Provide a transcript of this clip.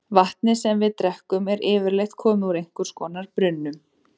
Vatnið sem við drekkum er yfirleitt komið úr einhvers konar brunnum.